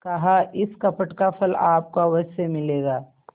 कहाइस कपट का फल आपको अवश्य मिलेगा